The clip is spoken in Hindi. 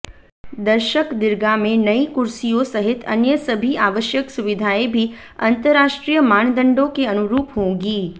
दर्शकदीर्घा में नई कुर्सियों सहित अन्य सभी आवश्यक सुविधाएं भी अंतर्राष्ट्रीय मानदंडों के अनुरूप होंगी